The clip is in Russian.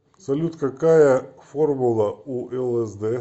салют какая формула у лсд